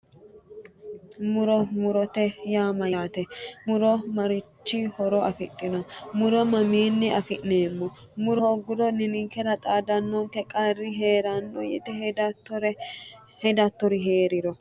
Muro murote yaa mayyaate muro marichi horo afidhino muro mamiinni afi'neemmo muro hoogguro ninkera xaadannonke qarri heeranno yite hedattori heeranno